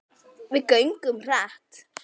Við göngum hratt.